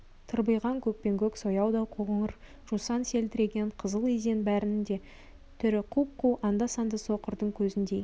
тырбиған көкпеңкөк сояудай қоңыр жусан селдіреген қызыл изен бәрінің де түрі құп-қу анда-санда соқырдың көзіндей